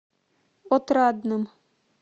отрадным